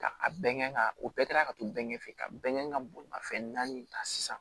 Ka a bɛɛ kɛ ka o ka to bɛɛ ɲɛfɛ ka bɛn ka bolimafɛn naani ta sisan